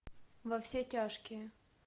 во все тяжкие